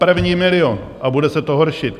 První milion, a bude se to horšit.